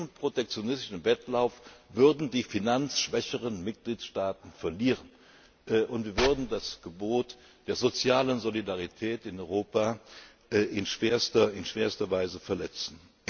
Bei diesem protektionistischen Wettlauf würden die finanzschwächeren Mitgliedstaaten verlieren, und wir würden das Gebot der sozialen Solidarität in Europa in schwerster Weise verletzen.